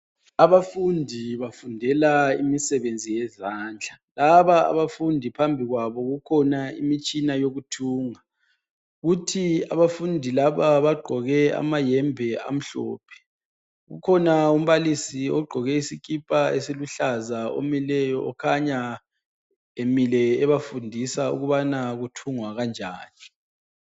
Abafundi bafundela imisebenzi yezandla, laba abafundi phambi kwabo kukhona imitshina yokuthunga, futhi abafundi laba bagqoke amayembe amhlophe, kukhona umbalisi ogqoke isikipa esiluhlaza omileyo kukhanya emile ebafundisa ukubana kuthungwa kanjani.